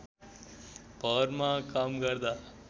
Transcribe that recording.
भरमा काम गर्दा